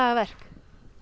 verk